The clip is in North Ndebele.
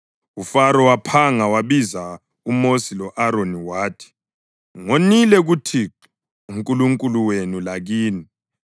UFaro waphanga wabiza uMosi lo-Aroni wathi, “Ngonile kuThixo uNkulunkulu wenu lakini.